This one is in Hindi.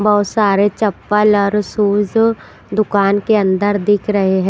बहुत सारे चप्पल और शूज दुकान के अंदर दिख रहे हैं।